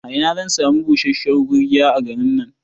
A ina zan sami busasshiyar gurgiya a garin nan?